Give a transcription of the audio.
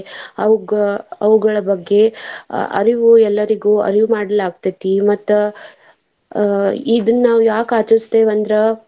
ಅವುಗ~ ಅವುಗಳ ಬಗ್ಗೆ ಅಹ್ ಅರಿವು ಎಲ್ಲರಿಗು ಅರಿವ್ ಮಾಡಲಾಗ್ತೆತಿ. ಮತ್ತ್ ಅಹ್ ಇದನ್ನ ನಾವ್ ಯಾಕ್ ಆಚರಿಸ್ತೇವ ಅಂದ್ರ.